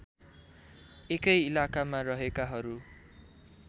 एकै इलाकामा रहेकाहरू